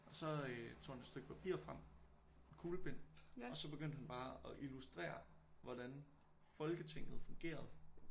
Og så øh tog han et stykke papir frem og en kuglepen og så begyndte han bare at illustrere hvordan foketinget fungerede